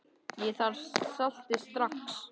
Ég þarf saltið strax.